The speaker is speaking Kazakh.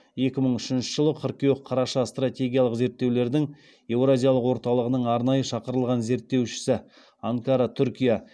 екі мың үшінші жылы стратегиялық зерттеулердің еуразиялық орталығының арнайы шақырылған зерттеушісі